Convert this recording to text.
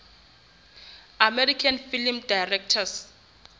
american film directors